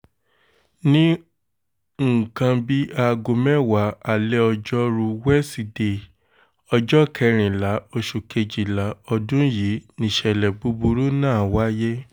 ní nǹkan bíi aago mẹ́wàá alẹ́ ọjọ́rùú wíṣídẹ̀ẹ́ ọjọ́ kẹrìnlá oṣù kejìlá ọdún yìí nìṣẹ̀lẹ̀ búburú náà wáyé